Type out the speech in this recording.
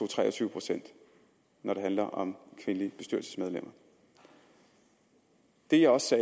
tre og tyve pct når det handler om kvindelige bestyrelsesmedlemmer det jeg også